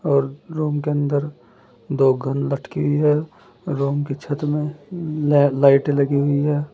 और रूम के अंदर दो गन लटकी है रूम की छत में ल लाइटे लगी हुई है।